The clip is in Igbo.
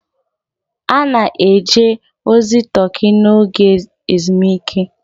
A na-eje ozi Turkey n'oge ezumike.